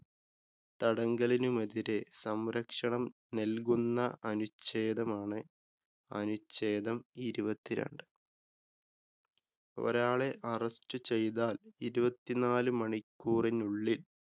തടങ്കലിനുമെതിരെ സംരക്ഷണം നല്‍കുന്ന അനുച്ഛേദമാണ് അനുച്ഛേദം ഇരുപത്തിരണ്ട്. ഒരാളെ അറസ്റ്റ് ചെയ്‌താല്‍ ഇരുപത്തിനാല് മണിക്കൂറിനുള്ളില്‍